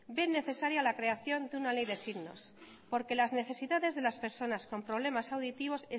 ven necesaria la creación de una ley de signos porque las necesidades de las personas con problemas auditivos